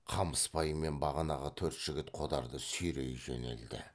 қамысбай мен бағанағы төрт жігіт қодарды сүйрей жөнелді